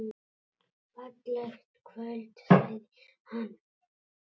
Fallegt kvöld sagði hann.